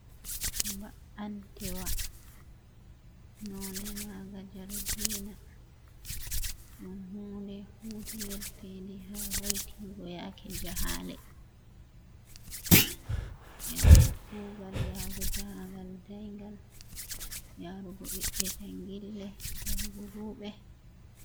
Ba’antewa nonɗe maga jargina ,ɗum hunɗe hutinirtendi ha hoitingo yaake jahale ,yago kugal yahago jahagal dayngal yarugo ɓiɓɓe jangille yahugo wuɓe.